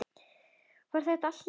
Var þetta allt lygi?